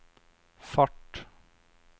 fart